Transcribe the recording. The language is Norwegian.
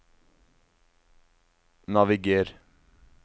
naviger